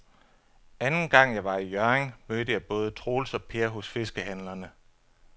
Anden gang jeg var i Hjørring, mødte jeg både Troels og Per hos fiskehandlerne.